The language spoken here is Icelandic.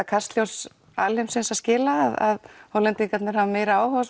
Kastljós heimsins að skila að Hollendingar hafi meiri áhuga á